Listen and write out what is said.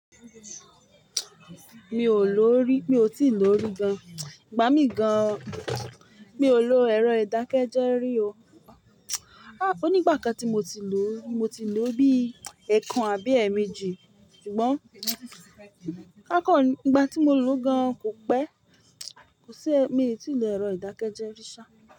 Mi ò lò rí, mi ò tíì lò rí gan. Gba mi gan, mi ò lò ẹ̀rọ ìdákẹ́jẹ́ rí o. Ah! Ó ní ìgbà kan tí mo ti lò, mo ti lò bí ẹẹkan àbí ẹẹmeji. Ṣùgbọ́n kákọ̀n, ìgbà tí mo lò ó gan kò pẹ́. Kò sí ẹ́, mi ò tíì lò ẹ̀rọ ìdákẹ́jẹ́ rí ṣá.